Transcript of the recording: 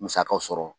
Musakaw sɔrɔ